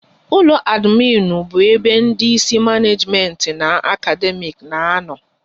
Ụlọ adminu bụ ebe ndị Ịsị maneejimenti na akademiiki na-ano